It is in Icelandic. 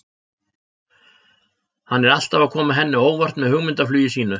Hann er alltaf að koma henni á óvart með hugmyndaflugi sínu.